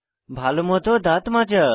ভালোমত দাঁত মাজা